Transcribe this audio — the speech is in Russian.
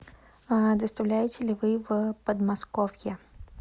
а доставляете ли вы в подмосковье